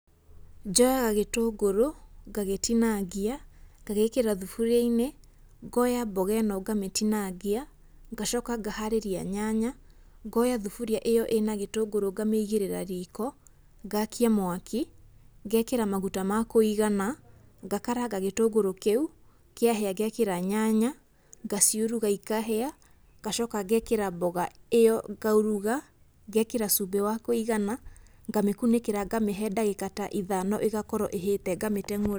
Njoyaga gĩtũngũrũ, ngagĩtinangia, ngagĩĩkĩra thuburia-inĩ, ngoya mboga ĩno ngamĩtinangia, ngacoka ngaharĩria nyanya, ngoya thuburia ĩo ĩna gĩtũngũrũ ngamĩigĩrĩra riko, ngakia mwaki, ngekĩra maguta makũigana, ngakaranga gĩtũngũrũ kĩu kĩahia ngekĩra nyanya ngaciuruga ikahia ngacoka ngekĩra mboga ĩyo ngauruga, ngekĩra cumbĩ wa kũigana, ngamĩkunĩkĩra ngamĩhe ta ndagĩka ta ithano ĩgakorwo ĩhĩte ngamĩteng'ũra.